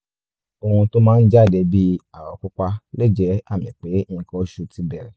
ohun tó máa ń jáde bíi àwọ̀ pupa lè jẹ́ àmì pé nǹkan oṣù ti bẹ̀rẹ̀